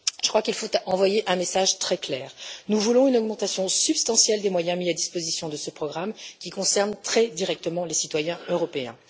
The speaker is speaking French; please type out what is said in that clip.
Je crois qu'il faut envoyer un message très clair nous voulons une augmentation substantielle des moyens mis à disposition de ce programme, qui concerne très directement les citoyens européens.